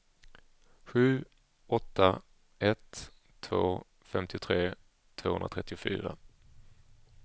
sju åtta ett två femtiotre tvåhundratrettiofyra